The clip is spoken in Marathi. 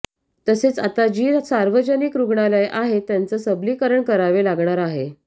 तसेच आता जी सार्वजनिक रुग्णालये आहेत त्याचं सबलीकरण करावे लागणार आहे